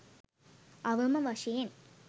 අවම වශයෙන්